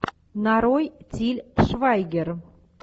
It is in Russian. нарой тиль швайгер